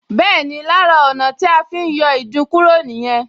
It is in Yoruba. Bẹ́ẹ̀ni, lára ọ̀nà tí a fi ń yọ ìdun kúrò nìyẹn